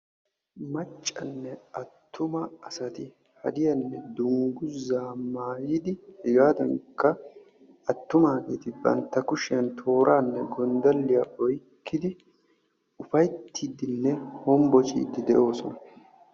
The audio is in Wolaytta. Maccanne attuma asati hadiyanne dungguza maayidi hegaadankka attumageeti bantta kushiyan tooraanne gonddaliya oyiqqidi ufayittiiddinne hombociiddi de'oosona.